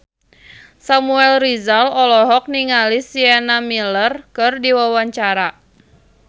Samuel Rizal olohok ningali Sienna Miller keur diwawancara